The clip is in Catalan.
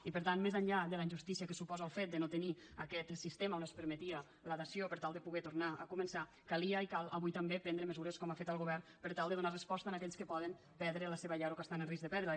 i per tant més enllà de la injustícia que suposa el fet de no tenir aquest sistema on es permetia la dació per tal de poder tornar a començar calia i cal avui també prendre mesures com ha fet el govern per tal de donar resposta a aquells que poden perdre la seva llar o que estan en risc de perdre la